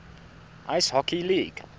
ice hockey league